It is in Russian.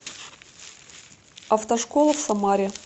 автошкола в самаре